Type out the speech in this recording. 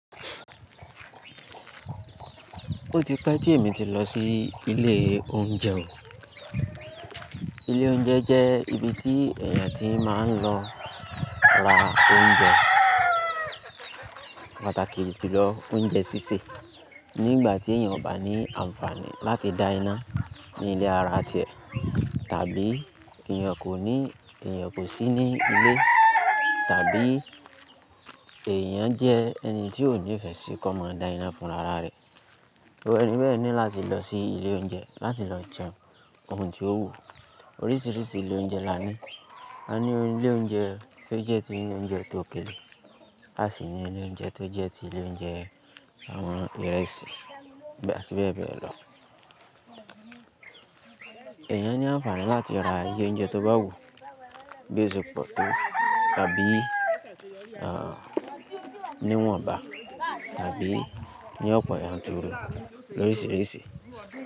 Ó ti pẹ́ tí èmi ti lọ sí ilé oúnjẹ o. Ilé oúnjẹ jẹ́ ibi tí èèyàn ti máa ń lọ ra oúnjẹ, pàtàkì julo oúnjẹ sísè. Nígbà tí èèyàn ò bá ní àǹfààní láti dá iná ní ilé ara tiẹ̀ tàbí èèyàn kò ní, èèyàn kò sí ní ilé tàbí èèyàn jẹ́ ẹni tí ò nífẹ̀ẹ́ síkọ́mọ̀ dá iná fún ara rẹ̀, iru ẹni bẹ́ẹ̀ ní láti lọ sí ilé oúnjẹ láti lọ jẹun ohun tí ó wù. Oríṣiríṣi ilé oúnjẹ la ní. A ní ilé oúnjẹ tó jẹ́ ti ilé oúnjẹ tó okelé, a sì ní ilé oúnjẹ tó jẹ́ ti ilé oúnjẹ àwọn ìrẹsì àti bẹ́ẹ̀ bẹ́ẹ̀ lọ. Ẹ̀yàn ní àǹfààní láti ra íyẹ oúnjẹ tó bá wù, bíi o se poótọ́ tàbí níwọ̀nba tàbí ní ọpọ̀ yànturu lo oríṣiríṣi.